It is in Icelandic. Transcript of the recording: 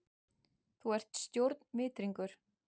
Þú ert stjórnvitringur!